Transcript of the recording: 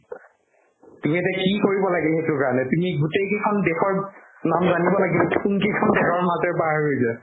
তুমি এতিয়া কি কৰিব লাগিল সেইটোৰ কাৰণে তুমি গোটেই কেইখন দেশৰ নাম জানিব লাগিল কোনকেইখন দেশৰ মাজেৰে পাৰ হৈছে